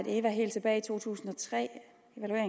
eva helt tilbage i to tusind og tre